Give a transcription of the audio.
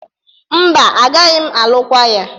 Mba, agaghị m alụkwa ya.